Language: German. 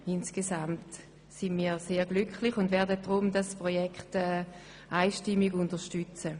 Insgesamt sind wir sehr glücklich, und wir werden das Projekt einstimmig unterstützen.